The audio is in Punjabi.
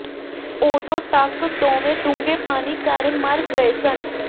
ਉਦੋਂ ਤਕ ਦੋਵੇਂ ਡੂੰਘੇ ਪਾਣੀ ਕਾਰਨ ਮਰ ਗਏ ਸਨ